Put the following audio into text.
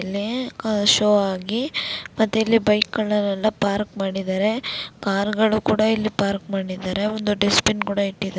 ಇಲ್ಲಿ ಆಹ್ ಶೋ ಆಗಿ ಮತ್ತೆ ಇಲ್ಲಿ ಬೈಕ್ನೆಲ್ಲ ಪಾರ್ಕ್ ಮಾಡಿದರೆ ಕಾರ್ಗಳು ಕೂಡಾ ಇಲ್ಲಿ ಪಾರ್ಕ್ ಮಾಡಿದರೆ ಒಂದು ಡಸ್ಟ್ಬಿನ್ ಕೂಡಾ ಇಟ್ಟಿ--